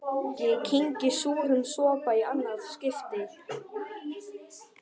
Ég kyngi súrum sopa í annað skipti.